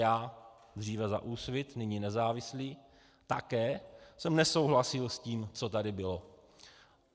Já dříve za Úsvit, nyní nezávislý, také jsem nesouhlasil s tím, co tady bylo.